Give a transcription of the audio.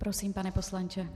Prosím, pane poslanče.